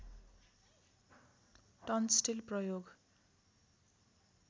ton steel प्रयोग